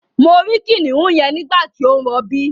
Mo rí kìnìún yẹn nígbàtí ó ń rọbí